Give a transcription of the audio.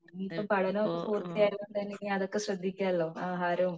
ഇനി ഇപ്പൊ പാഠനൊക്കെ പൂർത്തിയായ നിലക്ക് അതൊക്കെ ശ്രദ്ധിക്കാലോ ആഹാരോം